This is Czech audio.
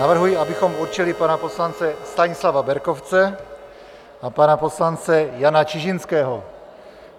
Navrhuji, abychom určili pana poslance Stanislava Berkovce a pana poslance Jana Čižinského.